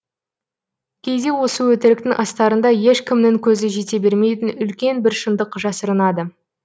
кейде осы өтіріктің астарында ешкімнің көзі жете бермейтін үлкен бір шындық жасырынады